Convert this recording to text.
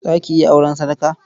Za ki iya auren sadaka?